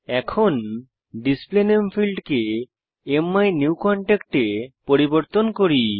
এখন ডিসপ্লে নামে ফীল্ডকে মাইনিউকনট্যাক্ট এ পরিবর্তন করি